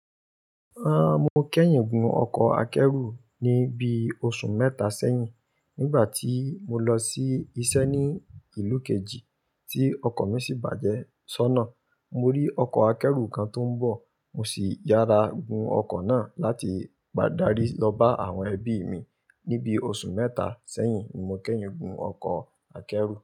Ahn, mo kẹ́yìn gun ọkọ̀ akẹ́rù ní bií oṣù mẹ́ta sẹ́yìn. Nígbà tí mo lọ sí iṣẹ́ ní ìlú kejì tí ọkọ̀ mi sì bàjẹ́ sónà. Mo rí ọkọ̀ akẹ́rù kan tó ń bọ̀, mo sì yára gun ọkọ̀ náà láti padà rí lọ bá àwọn ẹbí mi. Ni bí oṣù mẹ́ta sẹ́yìn, ni mo kẹ́yìn gun ọkọ̀ akẹ́rù.